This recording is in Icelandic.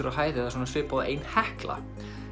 á hæð eða svona svipað og ein Hekla